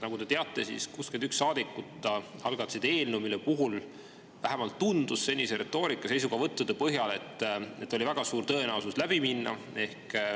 Nagu te teate, 61 saadikut algatasid eelnõu, millel, vähemalt tundus nii senise retoorika ja seniste seisukohavõttude põhjal, oli väga suur tõenäosus läbi minna.